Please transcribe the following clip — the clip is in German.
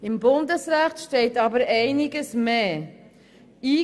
Im Bundesrecht steht aber einiges mehr davon.